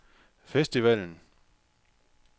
festivalen